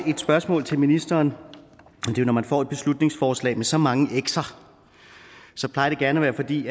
spørgsmål til ministeren når man får et beslutningsforslag med så mange xer plejer det gerne at være fordi